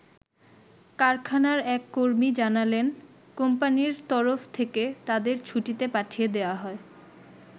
কারখানার এক কর্মী জানালেন, কোম্পানির তরফ থেকে তাদের ছুটিতে পাঠিয়ে দেয়া হয়।